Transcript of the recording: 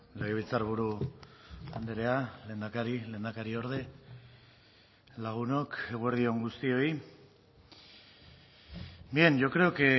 legebiltzarburu andrea lehendakari lehendakariorde lagunok eguerdi on guztioi bien yo creo que